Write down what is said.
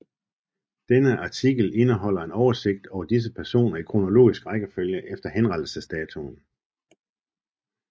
Denne artikel indeholder en oversigt over disse personer i kronologisk rækkefølge efter henrettelsesdatoen